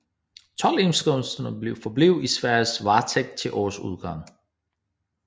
Toldindkomsterne forblev i Sveriges varetægt til årets udgang